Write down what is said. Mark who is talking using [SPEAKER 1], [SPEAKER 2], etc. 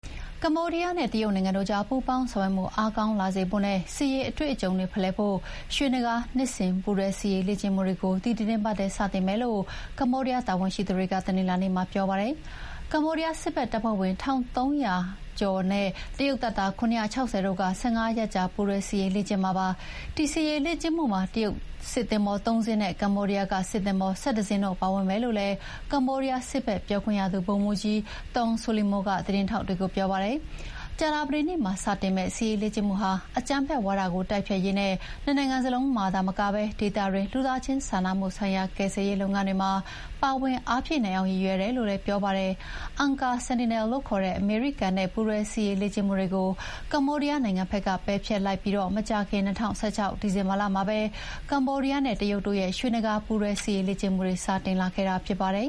[SPEAKER 1] ကမ္ဘောဒီးယားနဲ့ တရုတ်နိုင်ငံတို့ကြား ပူးပေါင်းဆောင်ရွက်မှုအားကောင်းလာစေဖို့နဲ့ စစ်ရေးအတွေ့အကြုံတွေဖလှယ်ဖို့ ရွှေနဂါး နှစ်စဥ်ပူးတွဲစစ်ရေးလေ့ကျင့်မှုတွေ ဒီသီတင်းပတ်ထဲစတင်မယ်လို့ ကမ္ဘောဒီးယား တာဝန်ရှိသူတွေက တနင်္လာနေ့မှာပြောပါတယ်။ ကမ္ဘောဒီးယားစစ်ဖက်တပ်ဖွဲ့ဝင် ၁,၃၁၅ ဦးနဲ့ တရုတ်တပ်သား ၇၆၀ တို့ ၁၅ ရက်ကြာ ပူးတွဲစစ်ရေးလေ့ကျင့်မှာပါ။ ဒီစစ်ရေးလေ့ကျင့်မှုမှာ တရုတ်စစ်သင်္ဘော ၃ စင်းနဲ့ ကမ္ဘောဒီးယားက စစ်သင်္ဘော ၁၁ စင်းတို့ပါဝင်မယ်လို့လည်း ကမ္ဘောဒီးယားစစ်ဘက်ပြောခွင့်ရသူ ဗိုလ်မှူးကြီး Thong Solimo ကသတင်းထောက်တွေကိုပြောပါတယ်။ ကြာသပတေးနေ့မှာစတင်မယ့် စစ်ရေးလေ့ကျင့်မှုဟာ အကြမ်းဖက်ဝါဒတိုက်ဖျက်ရေးနဲ့ နှစ်နိုင်ငံစလုံးမှာသာမက ဒေသတွင်းက လူသားချင်းစာနာမှုဆိုင်ရာ ကယ်ဆယ်ရေးလုပ်ငန်းတွေမှာ ပါဝင်အားဖြည့်နိုင်အောင်ရည်ရွယ်တယ်လို့လည်း ပြောပါတယ်။ Angkor Sentinel လို့ခေါ်တဲ့အမေရိကန်နဲ့ ပူးတွဲစစ်ရေးလေ့ကျင့်မှုတွေကို ကမ္ဘောဒီးယားနိုင်ငံဘက်က ပယ်ဖျက်လိုက်ပြီးမကြာခင် ၂၀၁၆ ဒီဇင်ဘာလမှာ ကမ္ဘောဒီးယားနဲ့ တရုတ်တို့ရဲ့ ရွှေနဂါးပူးတွဲစစ်ရေးလေ့ကျင့်မှုတွေ စတင်ခ
[SPEAKER 2] ဲ့တာဖြစ်ပါတယ်